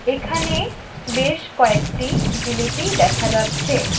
এখানে বেশ কয়েকটি জিলিপি দেখা যাচ্ছে।